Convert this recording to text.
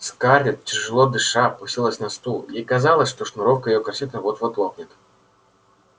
скарлетт тяжело дыша опустилась на стул ей казалось что шнуровка её корсета вот-вот лопнет